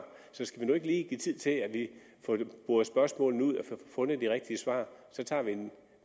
så skal vi nu ikke lige give tid til at vi får boret spørgsmålene ud og får fundet de rigtige svar så tager vi en